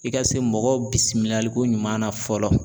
I ka se mɔgɔw bisimilaliko ɲuman na fɔlɔ.